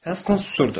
Helston susurdu.